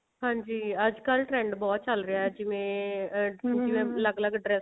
ਹਾਂਜੀ ਅੱਜਕਲ trend ਬਹੁਤ ਚੱਲ ਰਿਹਾ ਜਿਵੇਂ ਅਲੱਗ ਅਲੱਗ ਡ੍ਰੇਸਾਂ